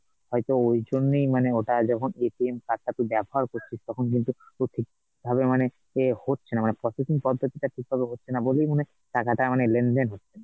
হয়তো ঐজন্যই মানে ওটা যখন card টা তুই ব্যাবহার করছিস, তখন কিন্তু তোর ঠিকভাবে মানে, এ হচ্ছেনা মানে processing পদ্ধতিটা ঠিকভাবে হচ্ছেনা বলেই মনে হয় টাকাটা মানে লেনদেন হচ্ছে ,